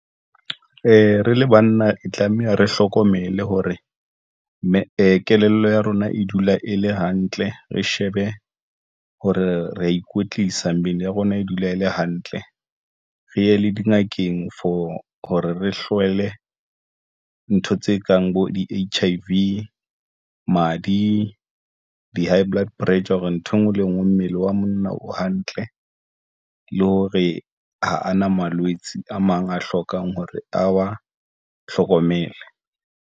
E re le banna e tlameha, re hlokomele hore mme kelello ya rona e dula e le hantle, re shebe ho re ya ikwetlisa. Mmele ya rona e dula e le hantle. Re ye le dingakeng for hore re hlole ntho tse kang bo di-H_I_V madi, di-high blood pressure hore nthwe ngwe le ngwe mmele wa monna o hantle le hore ha a na malwetse a mang a hlokang hore a wa hlokomela.